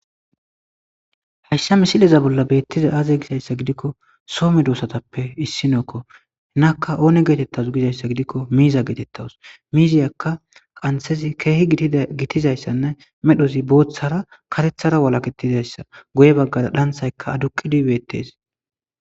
Hashsha misileza bolla beettiza aaze gisayssa gidikko soome doosatappe issinookko hnakka oone geetettasu gizayssa gidikko miiza geetettawus miiziyakka qanthezi keehi gitizayssanne medhozi booththara katethara walaketizayssa goye baggara dhanthayka aduqidu beettes.